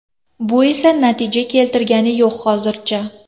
Bu esa natija keltirgani yo‘q hozircha.